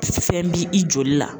Fɛn bi i joli la